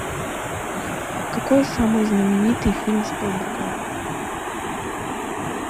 какой самый знаменитый фильм спилберга